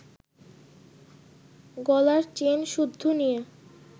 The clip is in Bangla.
গলার চেনসুদ্ধু নিয়ে